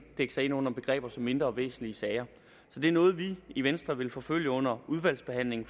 dække sig ind under begreber som mindre væsentlige sager så det er noget vi i venstre vil forfølge under udvalgsbehandlingen